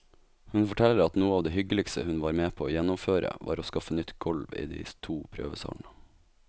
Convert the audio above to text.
Hun forteller at noe av det hyggeligste hun var med på å gjennomføre, var å skaffe nytt gulv i de to prøvesalene.